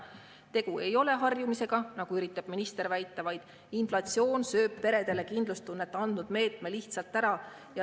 Tegu ei ole harjumisega, nagu üritab minister väita, vaid inflatsioon sööb peredele kindlustunnet andnud meetme lihtsalt ära.